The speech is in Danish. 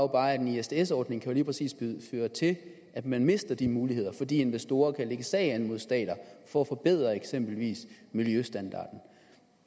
bare at en isds ordning jo lige præcis kan føre til at man mister de muligheder fordi investorer kan lægge sag an mod stater for at forbedre eksempelvis miljøstandarden